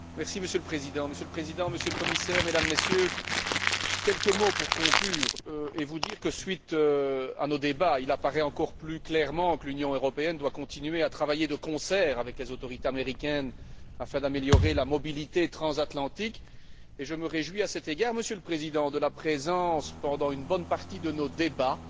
Monsieur le Président, Monsieur le Commissaire, Mesdames, Messieurs, quelques mots pour conclure et vous dire que, suite à nos débats, il apparaît encore plus clairement que l'Union européenne doit continuer à travailler de concert avec les autorités américaines afin d'améliorer la mobilité transatlantique et, à cet égard, je me réjouis, Monsieur le Président, de la présence, pendant une bonne partie de nos débats,